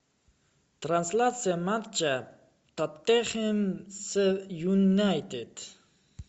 трансляция матча тоттенхэм с юнайтед